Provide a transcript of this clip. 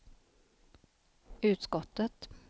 utskottet